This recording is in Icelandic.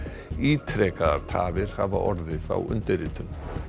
ítrekaðar tafir hafa orðið á undirritun